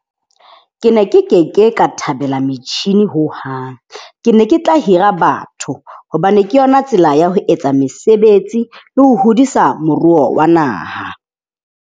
Ke ne ke ke ke ka thabela metjhini hohang. Ke ne ke tla hira batho hobane ke yona tsela ya ho etsa mesebetsi le ho hodisa moruo wa naha.